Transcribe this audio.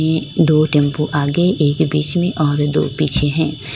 दो टेंपो आगे एक बीच में और दो पीछे हैं।